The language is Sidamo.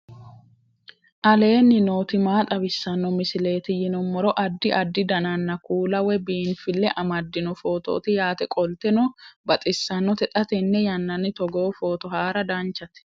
aleenni nooti maa xawisanno misileeti yinummoro addi addi dananna kuula woy biinfille amaddino footooti yaate qoltenno baxissannote xa tenne yannanni togoo footo haara danchate